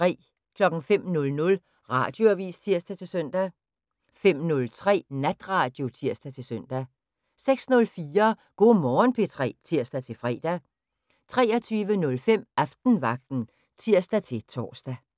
05:00: Radioavis (tir-søn) 05:03: Natradio (tir-søn) 06:04: Go' Morgen P3 (tir-fre) 23:05: Aftenvagten (tir-tor)